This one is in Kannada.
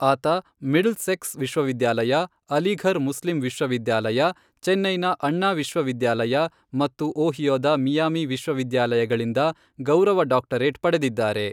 ಆತ ಮಿಡ್ಲ್ಸೆಕ್ಸ್ ವಿಶ್ವವಿದ್ಯಾಲಯ, ಅಲಿಘರ್ ಮುಸ್ಲಿಂ ವಿಶ್ವವಿದ್ಯಾಲಯ, ಚೆನ್ನೈನ ಅಣ್ಣಾ ವಿಶ್ವವಿದ್ಯಾಲಯ ಮತ್ತು ಓಹಿಯೊದ ಮಿಯಾಮಿ ವಿಶ್ವವಿದ್ಯಾಲಯಗಳಿಂದ ಗೌರವ ಡಾಕ್ಟರೇಟ್ ಪಡೆದಿದ್ದಾರೆ.